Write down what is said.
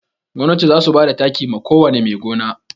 Gwamnati za su bada taki ma ko wane mai gona